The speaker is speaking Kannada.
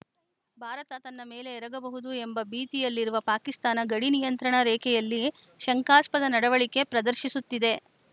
ಭಾರತ ತನ್ನ ಮೇಲೆ ಎರಗಬಹುದು ಎಂಬ ಭೀತಿಯಲ್ಲಿರುವ ಪಾಕಿಸ್ತಾನ ಗಡಿ ನಿಯಂತ್ರಣ ರೇಖೆಯಲ್ಲಿ ಶಂಕಾಸ್ಪದ ನಡವಳಿಕೆ ಪ್ರದರ್ಶಿಸುತ್ತಿದೆ